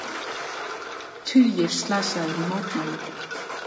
Tugir slasaðir í mótmælum